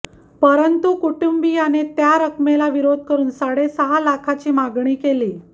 परंतु कुटुंबियाने त्या रक्कमेला विरोध करुन साडेसहा लाखाची मागणी केली